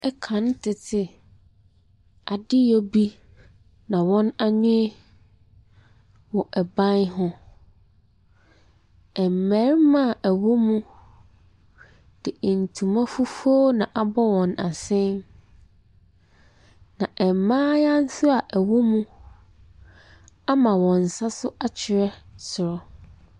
Kane tete adeyɔ bi na wɔn ani wɔ ban ho. Mmarima a wɔwɔ mu de ntoma fufuo na abɔ wɔn asene. Na mmayewa a nso a wɔwɔ mu ama wɔn nsa so akyerɛ soro.